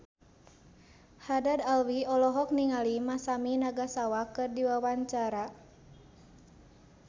Haddad Alwi olohok ningali Masami Nagasawa keur diwawancara